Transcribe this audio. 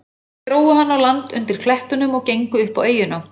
Þeir drógu hann á land undir klettunum og gengu upp á eyjuna.